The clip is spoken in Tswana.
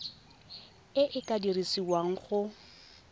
e e ka dirisiwang go